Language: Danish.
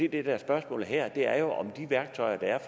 er spørgsmålet her er jo om det værktøj der er